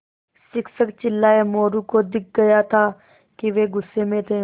शिक्षक चिल्लाये मोरू को दिख रहा था कि वे गुस्से में थे